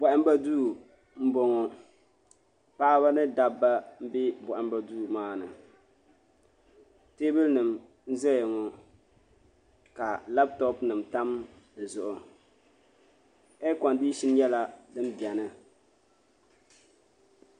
Bohambu duu n boŋo paɣaba ni dabba n bɛ bohambu duu maa ni teebuli nim n ʒɛya ŋo ka labitopi nim tam di zuɣu eer kondishin nyɛla din biɛni